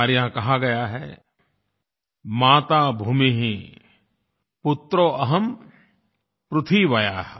हमारे यहाँ कहा गया है माता भूमिः पुत्रो अहम् पृथिव्याः